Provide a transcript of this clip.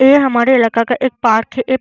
ऐ हमारे इलाके का एक पार्क है एक --